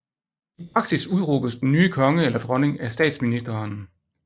I praksis udråbes den nye konge eller dronning af Statsministeren